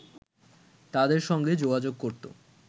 তাদের সঙ্গে যোগাযোগ করত